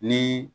Ni